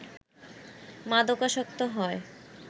মাদকাসক্ত হয়